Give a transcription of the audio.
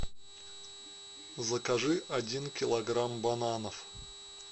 закажи один килограмм бананов